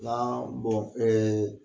Naa bɔn ɛɛ